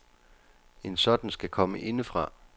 En sådan skal komme indefra.